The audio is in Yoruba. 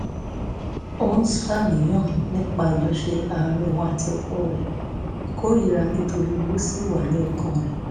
ó ń ṣàníyàn nípa àjọṣe àárín òun àti ọkọ rẹ̀ ìkórìíra nítorí owó sì wà lọ́kàn rẹ̀